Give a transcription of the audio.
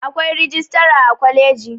Akwai rijistara a kwaliji